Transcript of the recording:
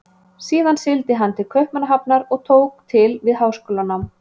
Síðan sigldi hann til Kaupmannahafnar og tók til við háskólanám.